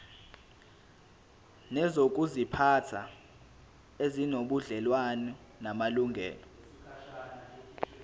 nezokuziphatha ezinobudlelwano namalungelo